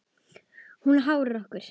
Og hún háir okkur.